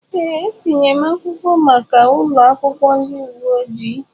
Ee, etinyere m akwụkwọ maka ụlọ akwụkwọ ndị uwe ojii.